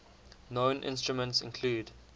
known instruments include